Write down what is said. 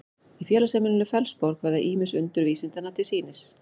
í félagsheimilinu fellsborg verða ýmis undur vísindanna til sýnis